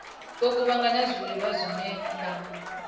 vho kuvhanganya zwiḽiwa zwine vha